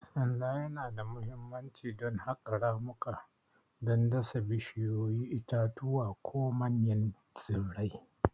Sanda yana da mahimmanci don haƙa ramuka don dasa bishiyoyi, itatuwa, ko manyan tsirrai.